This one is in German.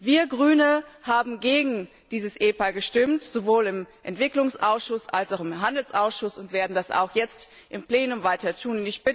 Wir Grüne haben gegen dieses EPA gestimmt, sowohl im Entwicklungsausschuss als auch im Handelsausschuss und werden das auch jetzt im Plenum weiter tun.